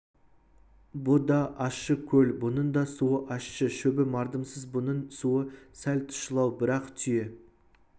бұ да ащы көл бұның да суы ащы шөбі мардымсыз бұның суы сәл тұщылау бірақ түйе